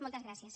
moltes gràcies